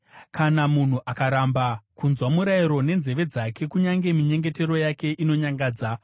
Kana munhu akaramba kunzwa murayiro nenzeve dzake, kunyange minyengetero yake inonyangadza.